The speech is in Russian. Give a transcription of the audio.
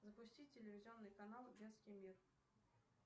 запусти телевизионный канал детский мир